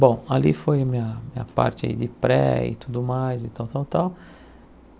Bom, ali foi a minha minha parte de pré e tudo mais e tal, tal, tal.